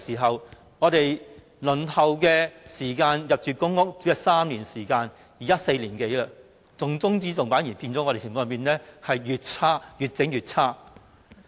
自他上台後，輪候入住公屋的時間已由3年變成4年多，重中之重的議題反而變得越來越差。